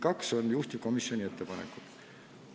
Kaks on juhtivkomisjoni ettepanekud.